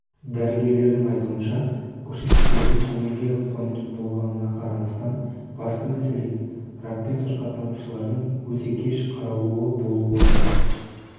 дәрігерлердің айтуынша көрсеткіштердің көңілге қонымды болғанына қарамастан басты мәселе ракпен сырқаттанушылардың өте кеш қаралуы болып отыр